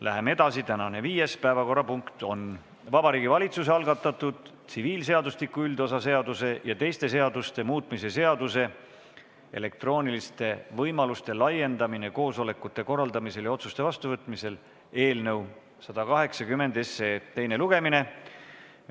Läheme edasi: tänane viies päevakorrapunkt on Vabariigi Valitsuse algatatud tsiviilseadustiku üldosa seaduse ja teiste seaduste muutmise seaduse eelnõu 180 teine lugemine.